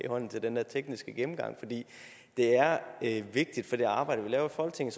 hånden til den der tekniske gennemgang for det er vigtigt for det arbejde vi laver i folketinget